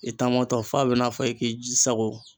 I taamɔtɔ f'a b'i na fɔ i k'i ji sago